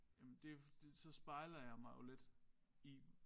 Jamen det det så spejler jeg mig jo lidt i